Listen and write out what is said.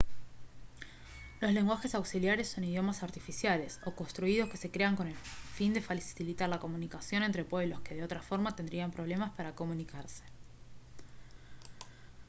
los lenguajes auxiliares son idiomas artificiales o construidos que se crean con el fin de facilitar la comunicación entre pueblos que de otra forma tendrían problemas para comunicarse